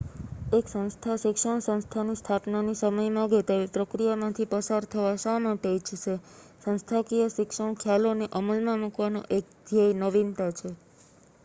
એક સંસ્થા શિક્ષણ સંસ્થાની સ્થાપનાની સમય માંગે તેવી પ્રક્રિયામાંથી પસાર થવા શા માટે ઇચ્છશે સંસ્થાકીય શિક્ષણ ખ્યાલોને અમલમાં મૂકવાનો એક ધ્યેય નવીનતા છે